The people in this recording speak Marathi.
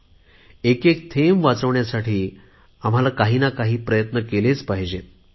पाण्याचा एक एक थेंब वाचविण्यासाठी आम्हाला काहीना काही प्रयत्न केले पाहिजेत